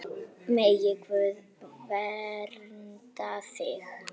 Megi Guð vernda þig.